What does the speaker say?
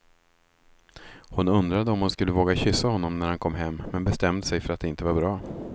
Hon undrade om hon skulle våga kyssa honom när han kom men bestämde sig för att det inte var bra.